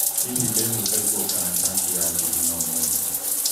hihi ndĩhumbe nguo kana cati ya thĩthĩno ũmũthĩ?